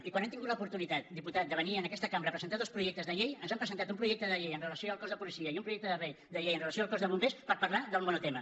i quan han tingut l’oportunitat diputat de venir a aquesta cambra a presentar dos projectes de llei ens han presentat un projecte de llei amb relació al cos de policia i un projecte de llei amb relació al cos de bombers per parlar del monotema